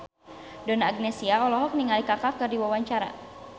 Donna Agnesia olohok ningali Kaka keur diwawancara